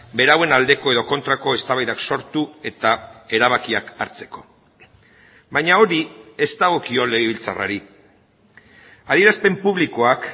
berauen aldeko edo kontrako eztabaidak sortu eta erabakiak hartzeko baina hori ez dagokio legebiltzarrari adierazpen publikoak